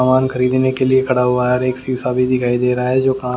सामान खरीदने के लिए खड़ा हुआ है और एक शीशा भी दिखाई दे रहा है जो--